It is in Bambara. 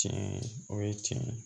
Tiɲɛ o ye tiɲɛ ye